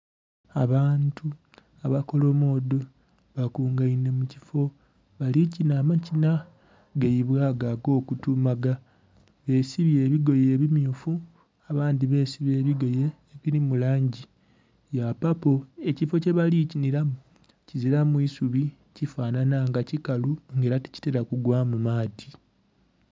Abantu abakolomodho bakungainhe mu kifo abalikinha amakina gaibwe ago agokutumaga besibye ebigoye ebimyufu abandhi besiba ebigoye ebili mu langi ya papo. Ekifo kye bali kinhilamu kizilamu isubi kifanhanha nga kikalu nga ela tikitela gugwamu maadhi.